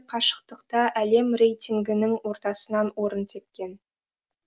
қашықтықта әлем рейтингінің ортасынан орын тепкен